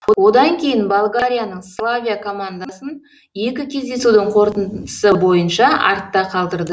одан кейін болгарияның славия командасын екі кездесудің қорытындысы бойынша артта қалдырды